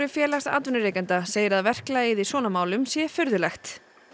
félags atvinnurekenda segir að verklagið í svona mál sé furðulegt